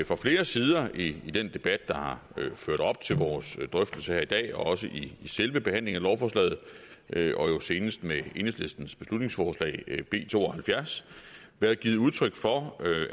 fra flere sider i den debat der har været ført op til vores drøftelser her i dag og også i selve behandlingen af lovforslaget og jo senest i forbindelse med enhedslistens beslutningsforslag b to og halvfjerds blevet givet udtryk for